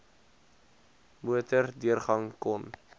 motor deurgang kon